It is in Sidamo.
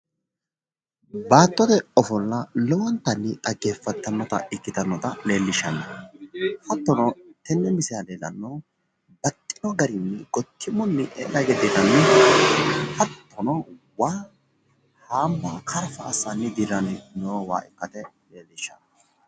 Baattote ofolla lowontanni dhaggeeffattannota ikkitanota leellishshsanno hattono tenne misilera leellannohu baxxino garinni quchumunni eela hige dirranno hattono waa haambaa karfa assanni dirranni noo waa ikkase leellishshanno